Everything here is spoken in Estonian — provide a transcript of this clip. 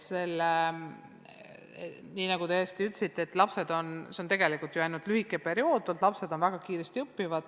Nii nagu te täiesti õigesti ütlesite, on see tegelikult ju ainult lühike periood, lapsed õpivad väga kiiresti.